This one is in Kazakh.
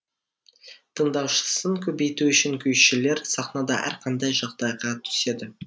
тыңдаушысын көбейту үшін күйшілер сахнада әрқандай жағдайға түседі